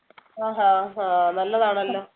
ആഹ് നല്ലതാണല്ലോ